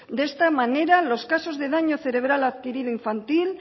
de esta manera los casos de daño cerebral adquirido infantil